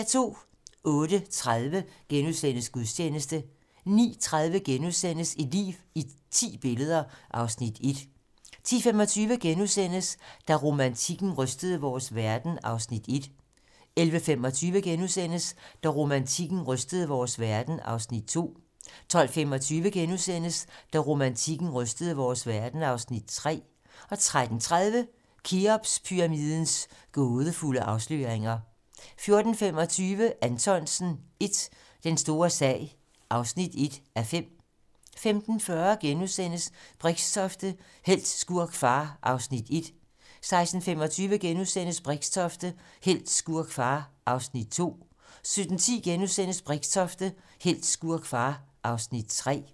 08:30: Gudstjeneste * 09:30: Et liv i ti billeder (Afs. 1)* 10:25: Da romantikken rystede vores verden (Afs. 1)* 11:25: Da romantikken rystede vores verden (Afs. 2)* 12:25: Da romantikken rystede vores verden (Afs. 3)* 13:30: Kheopspyramidens gådefulde afsløringer 14:25: Anthonsen I - Den store sag (1:5) 15:40: Brixtofte - helt, skurk, far (Afs. 1)* 16:25: Brixtofte - helt, skurk, far (Afs. 2)* 17:10: Brixtofte - helt, skurk, far (Afs. 3)*